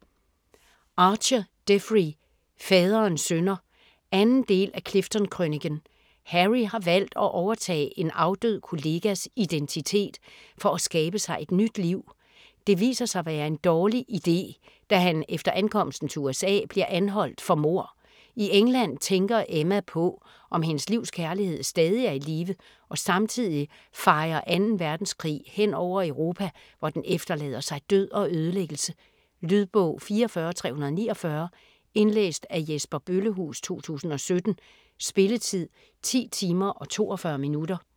Archer, Jeffrey: Faderens synder 2. del af Clifton-krøniken. Harry har valgt at overtage en afdød kollegas identitet, for at skabe sig et nyt liv. Det viser sig at være en dårlig iden, da han efter ankomsten til USA bliver anholdt for mord. I England tænker Emma på om hendes livs kærlighed stadig er i live og samtidig fejer 2. verdenskrig hen over Europa, hvor den efterlader sig død og ødelæggelse. Lydbog 44349 Indlæst af Jesper Bøllehuus, 2017. Spilletid: 10 timer, 42 minutter.